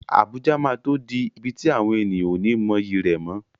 Abuja máa tó di ibi tí àwọn ènìyàn ó ní mọyì rẹ̀ mọ́.